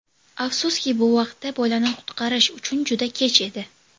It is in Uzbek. Afsuski, bu vaqtda bolani qutqarish uchun juda kech edi.